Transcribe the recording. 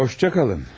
Xudahafiz.